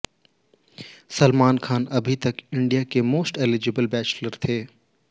सलमान खान अभी तक इंडिया के मोस्ट एलिजिबल बैचलर थे